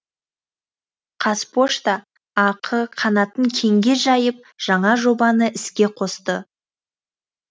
қазпошта ақ қанатын кеңге жайып жаңа жобаны іске қосты